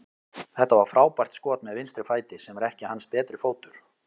Þetta var frábært skot með vinstri fæti, sem er ekki hans betri fótur.